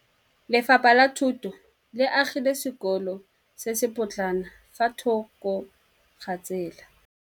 Lefapha la Thuto le agile sekôlô se se pôtlana fa thoko ga tsela.